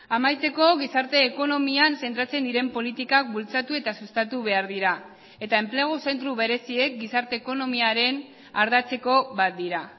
amaitzeko gizarte ekonomian zentratzen diren politikak bultzatu eta sustatu behar dira eta enplegu zentro bereziek gizarte ekonomiaren ardatzeko bat dira